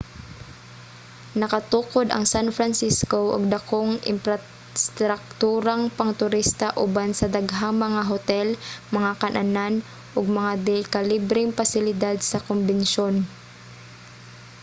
nakatukod ang san francisco og dakong imprastrakturang pangturista uban sa daghang mga hotel mga kan-anan ug mga dekalibreng pasilidad sa kombensiyon